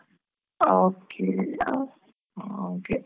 Okay ಹಾಗೆ.